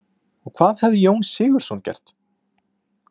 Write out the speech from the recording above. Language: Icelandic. Og hvað hefði Jón Sigurðsson gert?